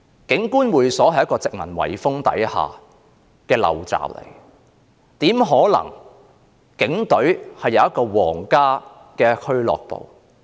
警官會所是殖民遺風下的陋習，警隊怎可能擁有一個皇家俱樂部呢？